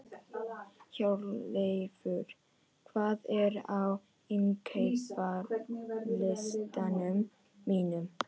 Hjörleifur, hvað er á innkaupalistanum mínum?